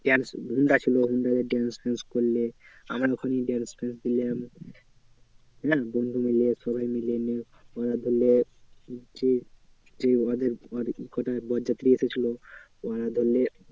Honda ছিল হুন্ডারে dance ফ্যানস করলে। আমার ওখানেই dance ফ্যানস করলাম। বন্ধুমিলে সবাই মিলে আহ ধরলে যে যে ওদের ওর কটা বরযাত্রী এসেছিলো ওরা ধরলে